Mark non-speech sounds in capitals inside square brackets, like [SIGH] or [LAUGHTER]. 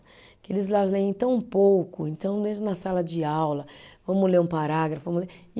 Que eles já leem tão pouco, então [UNINTELLIGIBLE] na sala de aula, vamos ler um parágrafo, vamos ler. E